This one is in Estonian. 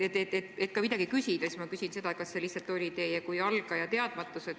Et ka midagi küsida, siis ma küsin seda: kas see lihtsalt oli teie kui algaja teadmatus?